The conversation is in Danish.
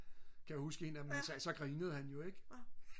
kan jeg huske en af dem sagde så grinede han jo ik